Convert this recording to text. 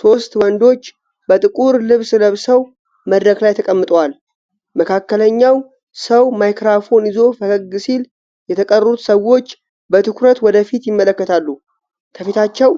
ሶስት ወንዶች በጥቁር ልብስ ለብሰው መድረክ ላይ ተቀምጠዋል። መካከለኛው ሰው ማይክሮፎን ይዞ ፈገግ ሲል፣ የተቀሩት ሰዎች በትኩረት ወደ ፊት ይመለከታሉ። ከፊታቸው